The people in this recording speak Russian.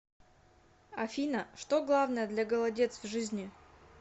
афина что главное для голодец в жизни